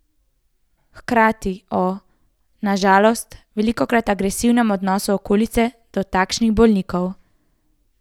Hkrati o, na žalost, velikokrat agresivnem odnosu okolice do takšnih bolnikov.